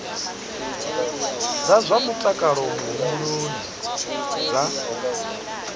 dza zwa mutakalo muhumbuloni dza